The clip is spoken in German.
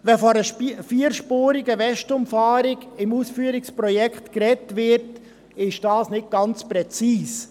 Wenn im Ausführungsprojekt von einer vierspurigen Westumfahrung gesprochen wird, ist dies nicht ganz präzise.